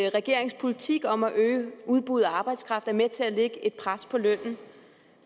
at regeringens politik om at øge udbuddet af arbejdskraft er med til at lægge et pres på lønnen og